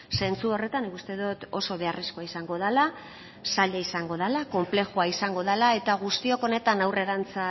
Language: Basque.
zentzu horretan nik uste dot oso beharrezkoa izango dala zaila izango dala konplexua izango dala eta guztiok honetan aurrerantza